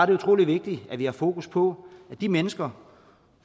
det utrolig vigtigt at vi har fokus på at de mennesker